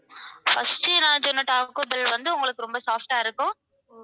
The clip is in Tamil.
first நான் சொன்ன taco bell வந்து உங்களுக்கு ரொம்ப soft ஆ இருக்கும்.